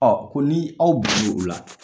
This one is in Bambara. Ɔ ko ni aw bɛnna ola